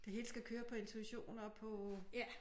Det hele skal køre på intuition og på